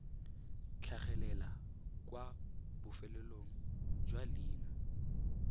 tlhagelela kwa bofelong jwa leina